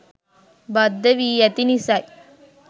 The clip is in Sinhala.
බද්ධ වී ඇති නිසයි